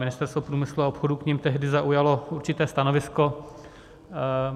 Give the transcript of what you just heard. Ministerstvo průmyslu a obchodu k nim tehdy zaujalo určité stanovisko.